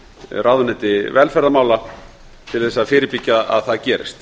ráðuneyti velferðarmála til að fyrirbyggja að það gerist